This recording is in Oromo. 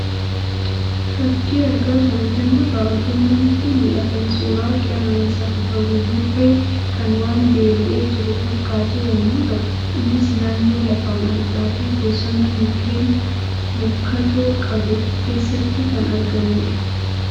Fakii argaa jirru kanarraa wantoonni nutti mul'atan, suuraa Qeerransa bifa buburree kan waan beela'ee jiru fakkaatu yemmuu ta'u innis naannoo lafa margaa fi bosona mukeen rukkatoo qabu keessatti kan argamudha.